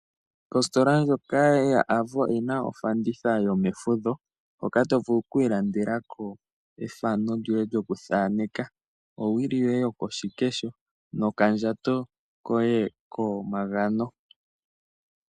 Ositola ndjoka yoAvo oyi na ofanditha yomefudho hoka to vulu oku ilandelako ethano lyoye lyokuthaneka , nowili yoye yokoshikesho nokandjato koye komagano.